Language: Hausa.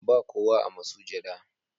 Ba kowa a masujada.